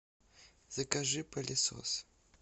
закажи пылесос